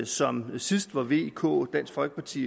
som sidst hvor vk dansk folkeparti